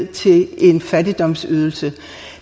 til en fattigdomsydelse